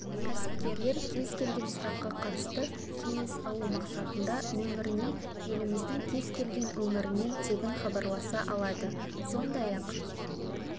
кәсіпкерлер кез келген сұраққа қатысты кеңес алу мақсатында нөміріне еліміздің кез-келген өңірінен тегін хабарласа алады сондай-ақ